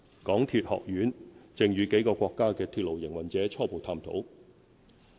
港鐵學院正與幾個國家的鐵路營運者初步探討。